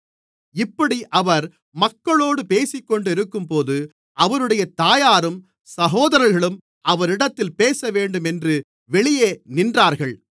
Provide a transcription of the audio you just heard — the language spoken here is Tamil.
இப்படி அவர் மக்களோடு பேசிக்கொண்டிருக்கும்போது அவருடைய தாயாரும் சகோதரர்களும் அவரிடத்தில் பேசவேண்டுமென்று வெளியே நின்றார்கள்